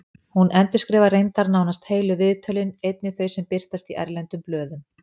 Hún endurskrifar reyndar nánast heilu viðtölin, einnig þau sem birtast í erlendum blöðum.